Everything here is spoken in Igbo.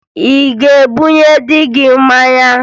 Ị ga-ebunye dị gị mmanya?